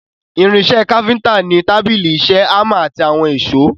Irin ìṣe káfíntà ni tábìlì ìṣe, hámà àti àwọn èsó.